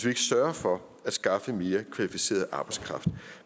ikke sørger for at skaffe mere kvalificeret arbejdskraft